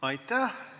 Aitäh!